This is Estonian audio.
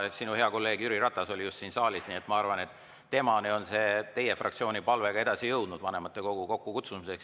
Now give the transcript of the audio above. Sinu hea kolleeg Jüri Ratas oli just siin saalis, nii et ma arvan, et temani on ka jõudnud teie fraktsiooni palve vanematekogu kokku kutsuda.